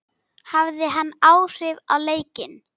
Hafði hann áhrif á leikinn?